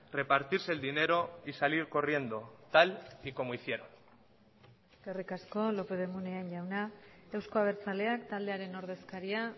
repartirse el dinero y salir corriendo tal y como hicieron eskerrik asko lópez de munain jauna euzko abertzaleak taldearen ordezkaria